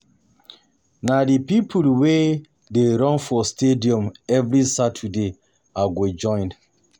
Na di pipo we dey run for stadium every Saturday I go join.